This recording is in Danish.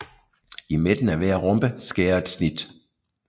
I midten af hver rombe skæres et snit